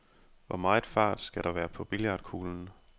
Hvor meget fart skal der være på billiardkuglen?